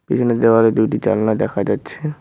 এখানে দেওয়ালে দুইটি জালনা দেখা যাচ্ছে।